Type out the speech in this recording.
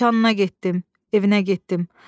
Dükanına getdim, evinə getdim.